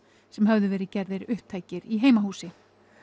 sem höfðu verið gerðir upptækir í heimahúsi